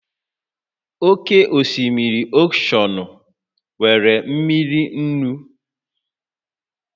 Oke osimiri oshọnụ nwere mmiri nnu